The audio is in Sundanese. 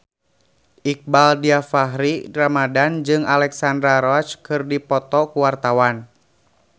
Iqbaal Dhiafakhri Ramadhan jeung Alexandra Roach keur dipoto ku wartawan